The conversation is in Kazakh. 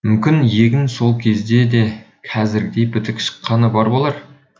мүмкін егін сол кезде де қазіргідей бітік шыққаны бар болар